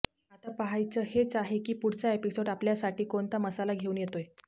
आता पहायचं हेच आहे की पुढचा एपिसोड आपल्यासाठी कोणता मसाला घेऊन येतोय